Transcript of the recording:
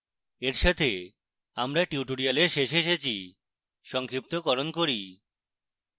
এর সাথে আমরা এই tutorial শেষে এসেছি